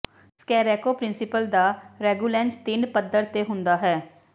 ਸਕੈਰੇਕੋ principle ਦਾ ਰੈਗੂਲੇਂਜ ਤਿੰਨ ਪੱਧਰ ਤੇ ਹੁੰਦਾ ਹੈ